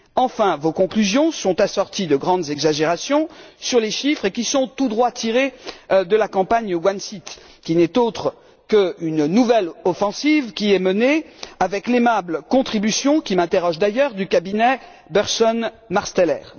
Enfin, vos conclusions sont assorties de grandes exagérations sur les chiffres, tout droit tirés de la campagne one seat qui n'est autre qu'une nouvelle offensive menée avec l'aimable contribution qui m'interpelle d'ailleurs du cabinet Burson Marsteller.